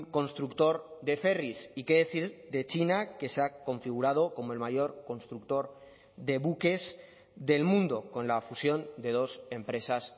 constructor de ferris y qué decir de china que se ha configurado como el mayor constructor de buques del mundo con la fusión de dos empresas